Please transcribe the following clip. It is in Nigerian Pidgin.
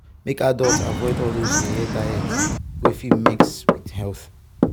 make adults dey avoid all those yeye diet wey fit mess with health.